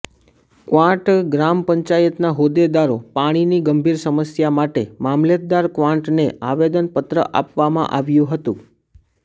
ક્વાંટ ગ્રામ પંચાયતના હોદ્દેદારો પાણીની ગંભીર સમસ્યા માટે મામલતદાર ક્વાંટને આવેદનપત્ર આપવામાં આવ્યુ હતું